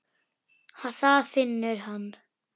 Það finnur hann.